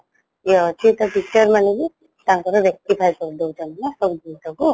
ଇଏ ଅଛି ତ teacher ମନେବି ତାଙ୍କର rectify କରିଦେଉଛନ୍ତି ନା ସବୁଜିନିଷକୁ